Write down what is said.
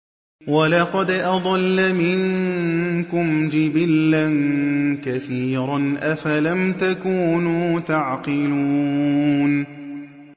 وَلَقَدْ أَضَلَّ مِنكُمْ جِبِلًّا كَثِيرًا ۖ أَفَلَمْ تَكُونُوا تَعْقِلُونَ